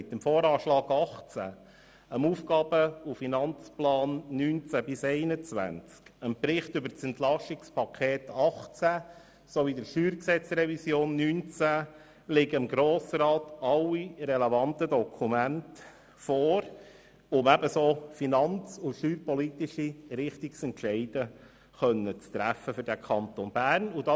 Mit dem VA 2018, dem AFP 2019– 2021, dem Bericht über das EP 2018 sowie der StG-Revision 2019 liegen dem Grossen Rat alle relevanten Dokumente vor, um finanz- und steuerpolitische Richtungsentscheide für den Kanton Bern zu treffen.